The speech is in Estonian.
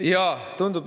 Jaa, tundub.